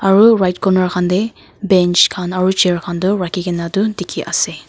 aru right corner khan te bench khan aru chair khan toh rakhi kena toh dikhi kena ase.